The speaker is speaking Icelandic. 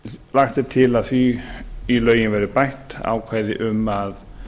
lagt er til að í lögin verði bætt ákvæði um að